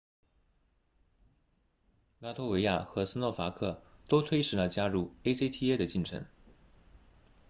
拉脱维亚和斯洛伐克都推迟了加入 acta 的进程